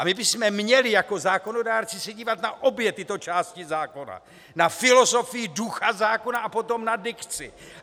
A my bychom měli jako zákonodárci se dívat na obě tyto části zákona - na filozofii, ducha zákona a potom na dikci.